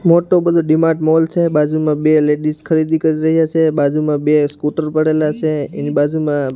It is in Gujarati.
મોટુ બધુ ડીમાર્ટ મોલ છે બાજુમાં બે લેડીઝ ખરીદી કરી રહ્યા છે બાજુમાં બે સ્કૂટર પડેલા છે એની બાજુમાં --